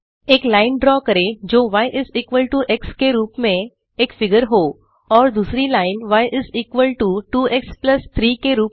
एक line draw करें जो y is equal to x के रूप में एक फिगर हो और दूसरी line y is equal to 2एक्स प्लस 3 के रूप में